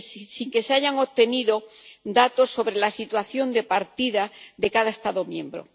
sin que se hayan obtenido datos sobre la situación de partida de cada Estado miembro.